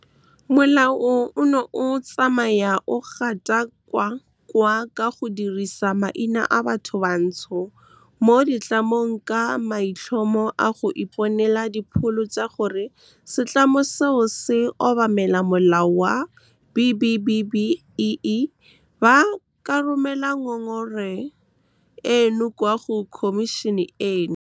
Molao ono o tsamaya o gatakakwa ka go dirisa maina a bathobantsho mo ditlamong ka maitlhomo a go iponela dipholo tsa gore setlamo seo se obamela molao wa B-BBEE, ba ka romela ngongora eno kwa go khomišene eno. Molao ono o tsamaya o gatakakwa ka go dirisa maina a bathobantsho mo ditlamong ka maitlhomo a go iponela dipholo tsa gore setlamo seo se obamela molao wa B-BBEE, ba ka romela ngongora eno kwa go khomišene eno.